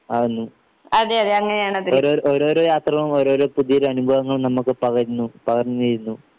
ആകുന്നു ഒര് ഓരോരോ യാത്രകളും ഓരോരോ പുതിയൊരനുഭവങ്ങളും നമുക്ക് പകരുന്നു പകർന്നുതരുന്നു.